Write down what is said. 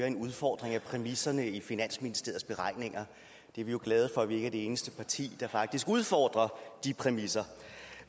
en udfordring af præmisserne i finansministeriets beregninger vi er jo glade for at vi ikke er det eneste parti der faktisk udfordrer de præmisser